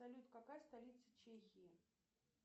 салют какая столица чехии